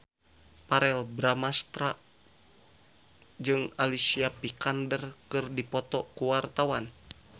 Verrell Bramastra jeung Alicia Vikander keur dipoto ku wartawan